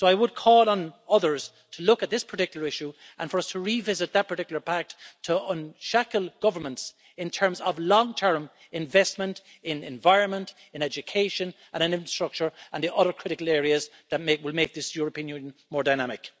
So I would call on others to look at this particular issue and for us to revisit that particular Pact to unshackle governments in terms of long term investment in environment, education and infrastructure and the other critical areas that will make this European Union more dynamic.